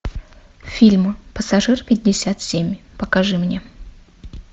фильм пассажир пятьдесят семь покажи мне